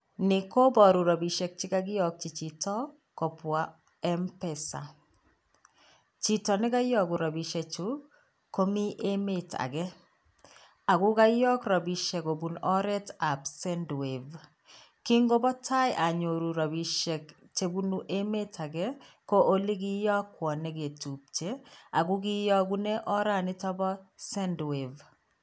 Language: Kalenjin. Ni koboru rapishiek chekakiokyi chito kobwa Mpesa. Chito nekaiyoku rapiesiekchu komi emet ake ako kaiok rapisiek kobun oretab sendwave .Ngikobo tai anyoru rapisiek chebunu emet ake ko chikiyokwo neke tupche ako kiyokune oret nito bo sendwave.